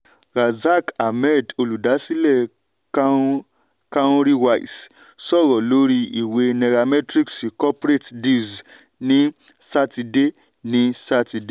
razaq ahmed olùdásílẹ̀ cowrywise sọ̀rọ̀ lórí ìwé nairametrics corporate deals ní sátidé. ní sátidé.